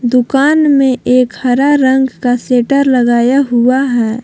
दुकान में एक हरा रंग का शेटर लगाया हुआ है।